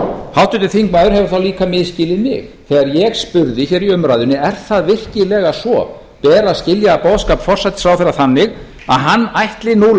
háttvirtur þingmaður hefur þá líka misskilið mig þegar ég spurði hér í umræðunni er það virkilega svo ber að skilja boðskap forsætisráðherra þannig að hann ætli nú